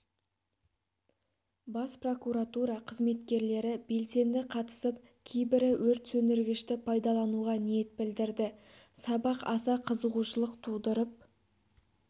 бас прокуратура қызметкерлері белсенді қатысып кейбірі өрт сөндіргішті пайдалануға ниет білдірді сабақ аса қызығушылық тудырып